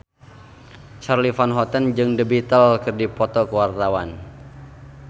Charly Van Houten jeung The Beatles keur dipoto ku wartawan